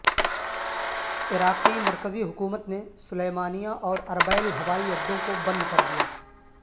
عراقی مرکزی حکومت نے سلیمانیہ اور عربیل ہوائی اڈوں کو بند کر دیا